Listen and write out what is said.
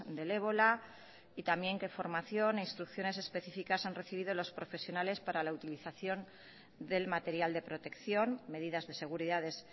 del ébola y también que formación e instrucciones específicas han recibido los profesionales para la utilización del material de protección medidas de seguridades